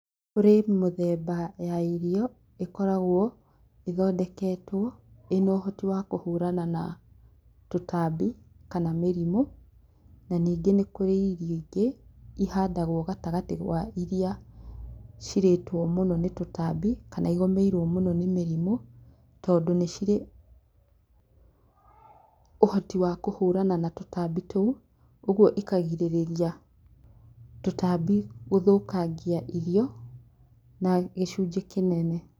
Kũrĩ mĩthemba ya irio ĩkoragwo ĩthondeketwo ĩrĩ na ũhoti wa kũhũrana na tũtambi kana mĩrimũ na ningĩ nĩ kũrĩ irio ingĩ ihandagwo gatagatĩ wa iria cirĩtwo mũno nĩ tũtambi kana iria igũmĩirwo nĩ mĩrimũ tondũ nĩ cirĩ ũhoti wa kũhũrana na tũtambi tũu koguo ikagirĩrĩria tũtambi gũthũkangia irio na gĩcunjĩ kĩnene.